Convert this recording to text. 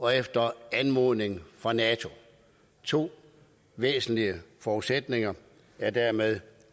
og efter anmodning fra nato to væsentlige forudsætninger er dermed